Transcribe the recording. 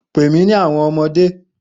Pe mi ni awọn ọmọde!